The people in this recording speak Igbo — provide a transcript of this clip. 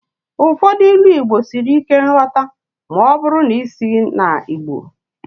Ụfọdụ Ilu Igbo siri ike nghọta ma ọ bụrụ na isighị na Igbo